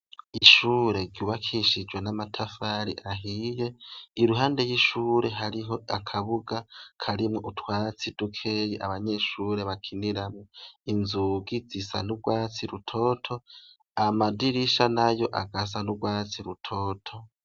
Ishure ryubakishijwe n'amatafari ahiye, iruhande y'ishure hariho akabuga karimwo utwatsi dukeya abanyeshure bakiniramwo, inzugi zisa n'urwatsi rutoto, amadirisha nayo agasaho n'urwatsi rutoto.